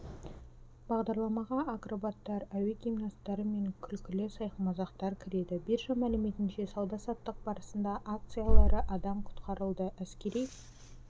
бағдарламаға акробаттар әуе гимнасттары мен күлкілі сайқымазақтар кіреді биржа мәліметінше сауда-саттық барысында акциялары адам құтқарылды әскери